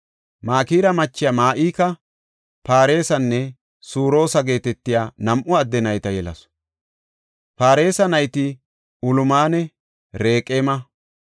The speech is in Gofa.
Makira machiya Ma7ika Pareesanne Suroosa geetetiya nam7u adde nayta yelasu. Paaresa nayti Ulamanne Raqeema.